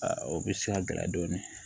o bɛ se ka gɛlɛya dɔɔnin